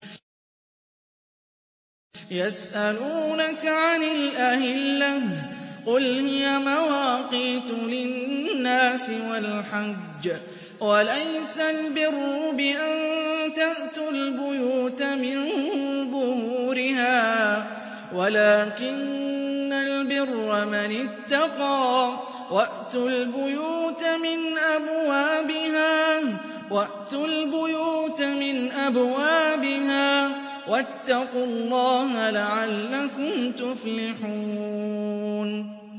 ۞ يَسْأَلُونَكَ عَنِ الْأَهِلَّةِ ۖ قُلْ هِيَ مَوَاقِيتُ لِلنَّاسِ وَالْحَجِّ ۗ وَلَيْسَ الْبِرُّ بِأَن تَأْتُوا الْبُيُوتَ مِن ظُهُورِهَا وَلَٰكِنَّ الْبِرَّ مَنِ اتَّقَىٰ ۗ وَأْتُوا الْبُيُوتَ مِنْ أَبْوَابِهَا ۚ وَاتَّقُوا اللَّهَ لَعَلَّكُمْ تُفْلِحُونَ